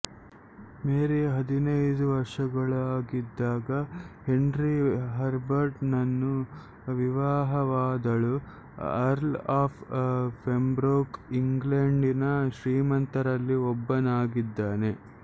ಮೇರಿ ಹದಿನೈದು ವರ್ಷದವಳಾಗಿದ್ದಾಗ Henry Herbert ನನ್ನು ವಿವಾಹವಾದಳುಅರ್ಲ್ ಆಫ್ ಪೆಂಬ್ರೋಕ್ ಇಂಗ್ಲೇಂಡಿನ ಶ್ರೀಮಂತರಲ್ಲಿ ಒಬ್ಬನಾಗಿದ್ದಾನೆ